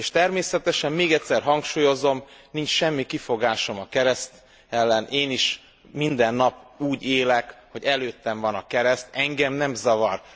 És természetesem még egyszer hangsúlyozom, nincs semmi kifogásom a kereszt ellen, én is minden nap úgy élek, hogy előttem van a kereszt, engem nem zavar.